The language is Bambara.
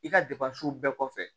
I ka bɛɛ kɔfɛ